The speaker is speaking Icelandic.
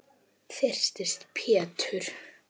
Þyrsti Pétur.